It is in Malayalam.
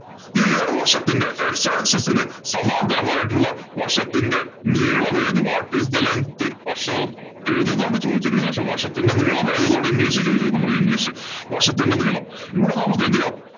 ഈ ഒരു വശത്തിന്‍റെ x axis ഇന് സമാന്തരമായിട്ടുള്ള വശത്തിന്‍റെ നീളം ഏത്? What is the length വശം ഏതു എന്നാണ് ചോദിച്ചിരിക്കുന്നത്. പക്ഷേ വശത്തിന്‍റെ നീളം ഏതാണ് എന്നാണ് english ഇല്‍ ചോദിച്ചിരിക്കുന്നത്? നമുക്ക് english വശത്തിന്‍റെ നീളം ഇവിടെ നമുക്ക് എന്തു ചെയ്യാം?